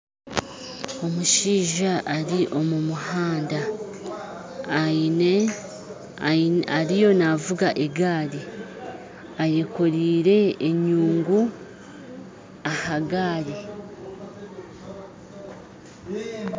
Omushaija ari omu muhanda aine ariyo navuga egaari ayekoreire enyungu aha gari.